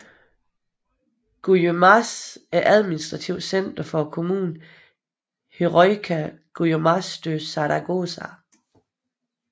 Guyamas er administrativt center for kommunen Heroica Guaymas de Zaragoza